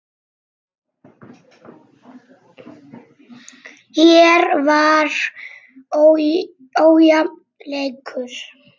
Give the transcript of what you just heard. Hér var ójafn leikur.